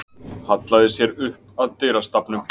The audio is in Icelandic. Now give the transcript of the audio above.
Hallaði sér upp að dyrastafnum.